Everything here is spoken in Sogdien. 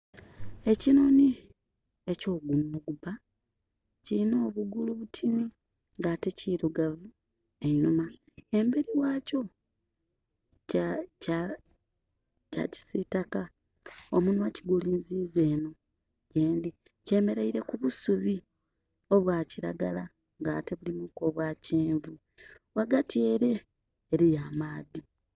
Ekinhonhi eky'ogunwa ogubba, kilina obugulu butini, nga ate kirugavu einhuma. Emberi ghakyo kya kya kya kisitaka. Omunwa kigulinziiza enho yendhi. Kyemereire ku busubi obwa kiragala nga ate bulimu ku obwa kyenvu. Ghagati ele eliyo amaadhi.